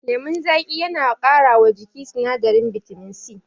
Lemon zaƙi yana ƙara wa jiki sinadarin bitamin C